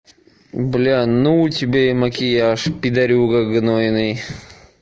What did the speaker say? бля ну у тебя и макияж пидарюга гнойный